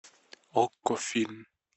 окко фильм